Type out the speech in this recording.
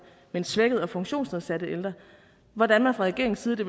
men svækkede og funktionsnedsatte ældre og hvordan man fra regeringens side det